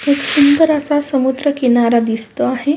खूप सुंदर असा समुद्र किनारा दिसतो आहे.